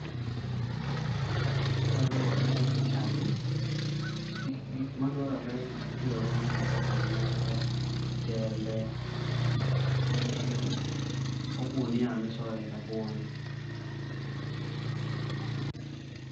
Kaluwore gi pichani, gik madwarore matiyogo gin kaka mulo, jembe, ogi gunia misoye rabuon.